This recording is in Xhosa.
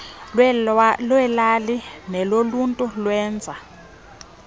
lweelali neloluntu lwenza